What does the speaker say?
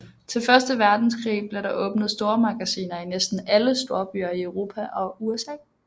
Til Første Verdenskrig blev der åbnet stormagasiner i næsten alle storbyer i Europa og USA